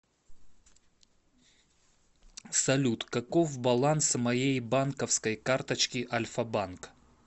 салют каков баланс моей банковской карточки альфа банк